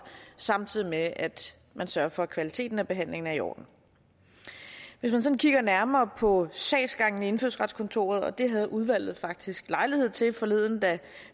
samtidig med at man sørger for at kvaliteten af behandlingen er i orden hvis man sådan kigger nærmere på sagsgangen i indfødsretskontoret og det havde udvalget faktisk lejlighed til forleden da